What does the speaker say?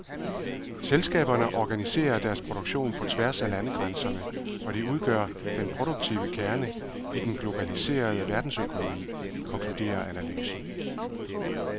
Selskaberne organiserer deres produktion på tværs af landegrænserne, og de udgør den produktive kerne i den globaliserede verdensøkonomi, konkluderer analysen.